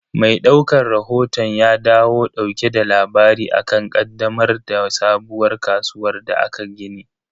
Mai daukan rahoton ya dawo dauke da labari akan ƙaddamar da sabuwar kasuwar da aka gini.